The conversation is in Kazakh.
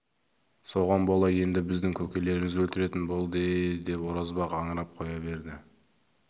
соған бола енді біздің көкелерімізді өлтіретін болды-е-е деп оразбақ аңырап қоя берді